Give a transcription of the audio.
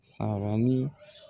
Sabali.